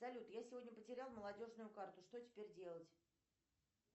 салют я сегодня потерял молодежную карту что теперь делать